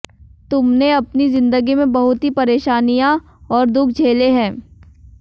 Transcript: तुमने अपनी जिंदगी में बहुत ही परेशानियां और दुख झेले हैं